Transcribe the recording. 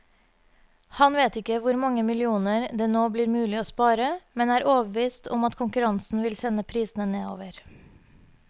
Han vet ikke hvor mange millioner det nå blir mulig å spare, men er overbevist om at konkurransen vil sende prisene nedover.